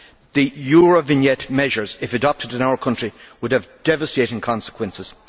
The Eurovignette measures, if adopted in our country, would have devastating consequences.